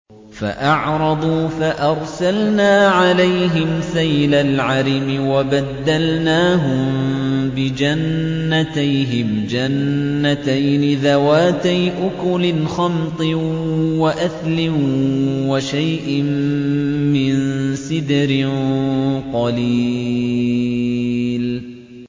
فَأَعْرَضُوا فَأَرْسَلْنَا عَلَيْهِمْ سَيْلَ الْعَرِمِ وَبَدَّلْنَاهُم بِجَنَّتَيْهِمْ جَنَّتَيْنِ ذَوَاتَيْ أُكُلٍ خَمْطٍ وَأَثْلٍ وَشَيْءٍ مِّن سِدْرٍ قَلِيلٍ